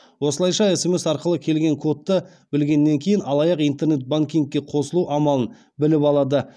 осылайша смс арқылы келген кодты білгеннен кейін алаяқ интернет банкингке қосылу амалын біліп алады